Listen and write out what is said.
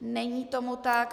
Není tomu tak.